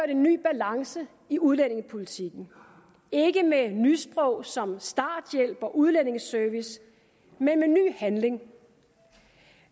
en ny balance i udlændingepolitikken ikke med nysprog som starthjælp og udlændingeservice men med ny handling